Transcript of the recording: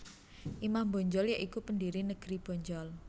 Imam Bonjol ya iku pendiri negeri Bonjol